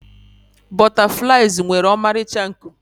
butterflies nwere ọmarịcha nku